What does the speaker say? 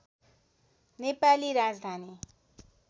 Nepali Rajdhani